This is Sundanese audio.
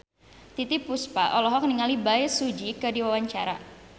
Titiek Puspa olohok ningali Bae Su Ji keur diwawancara